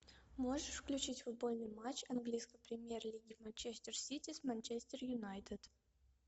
можешь включить футбольный матч английской премьер лиги манчестер сити с манчестер юнайтед